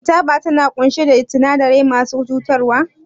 Shin taba tana ƙunshe da sinadarai masu cutarwa?